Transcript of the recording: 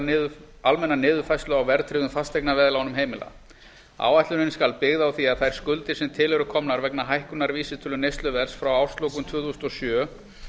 um almenna niðurfærslu á verðtryggðum fasteignaveðlánum heimila áætlunin skal byggð á því að þær skuldir sem til eru komnar vegna hækkunar vísitölu neysluverðs frá árslokum tvö þúsund og sjö